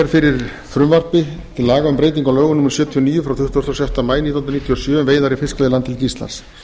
breyting á lögum númer sjötíu og níu tuttugasta og sjötta maí nítján hundruð níutíu og sjö um veiðar í fiskveiðilandhelgi íslands